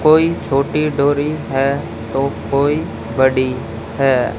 कोई छोटी डोरी है तो कोई बड़ी है।